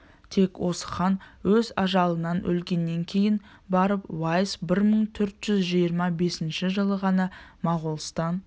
тек осы хан өз ажалынан өлгеннен кейін барып уайс бір мың төрт жүз жиырма бесінші жылы ғана моғолстан